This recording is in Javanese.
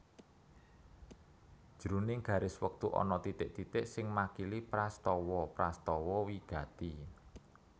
Jroning garis wektu ana titik titik sing makili prastawa prastawa wigati